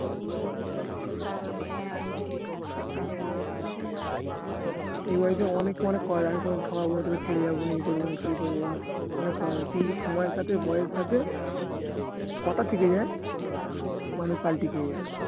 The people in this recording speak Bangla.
life এ অনেকে অনেক আমি তোমাকে ঠকাবোনা তোকে ছেড়ে যাবোনা এই করবোনা সেই করবোনা কিন্তু সময়ের সাথে বয়সের সাথে কথা থেকে যায় মানুষ পাল্টি খেয়ে যায়